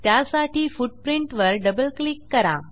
त्यासाठी फुटप्रिंट वर double click करा